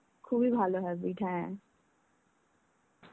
খুবই ভালো habbit, হ্যাঁ.